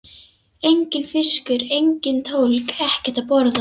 Enginn fiskur, engin tólg, ekkert að borða.